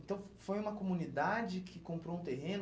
Então, foi uma comunidade que comprou um terreno?